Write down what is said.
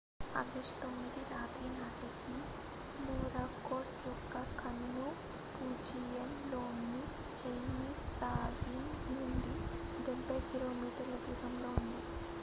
August 9 రాత్రి నాటికి Morakot యొక్క కన్ను ఫుజియాన్ లోని చైనీస్ ప్రావిన్స్ నుండి డెబ్బై కిలోమీటర్ల దూరంలో ఉంది